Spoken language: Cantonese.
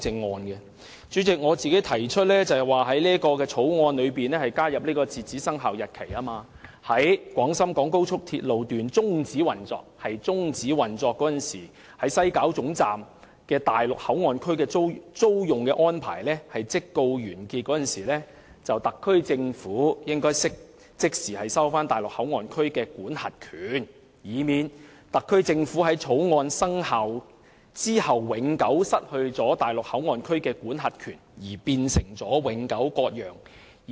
代理主席，我提出在《條例草案》加入截止生效日期，訂明該條例在廣深港高速鐵路香港段終止運作的日期起期滿失效。再者，在西九龍站內地口岸區的租用安排完結時，特區政府應即時收回內地口岸區的管轄權，以免特區政府在《條例草案》生效後永久失去內地口岸區的管轄權，變成永久割讓。